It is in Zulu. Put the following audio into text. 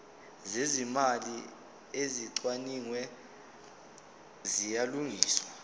zezimali ezicwaningiwe ziyalungiswa